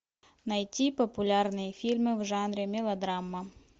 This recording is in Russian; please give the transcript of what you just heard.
найти популярные фильмы в жанре мелодрама